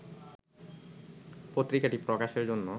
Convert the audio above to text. পত্রিকাটি প্রকাশের জন্য